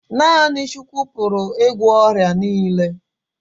Naa6ni Chukwu pụrụ ị gwọ ọrịa niile